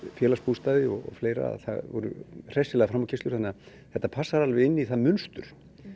Félagsbústaði og fleira það voru hressilegar framúrkeyrslur þannig að þetta passar alveg inn í það mynstur